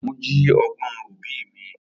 Aremu jí ọgbọ̀n obì mi.